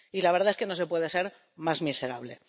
Y la verdad es que no se puede ser más miserable.